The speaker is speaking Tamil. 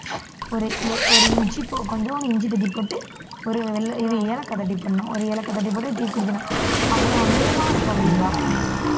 ஒரு இஞ்சி கொஞ்சம் இஞ்சி தட்டிப்போட்டு ஒரு வெ~ ஏலக்காய் தட்டி போடணும் ஒரு ஏலக்காய் தட்டி போட்டு tea குடிக்கணும் அவ்வளவு அமிர்தமா இருக்கும் அப்படிம்பா